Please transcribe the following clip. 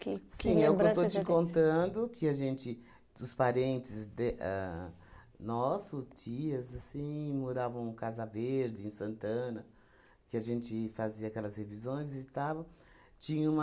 Que que lembranças... Sim, é o que eu que eu estou te contando que a gente, os parentes de ahn nosso, tias, assim, moravam Casa Verde, em Santana, que a gente fazia aquelas revisões e tal... Tinha uma...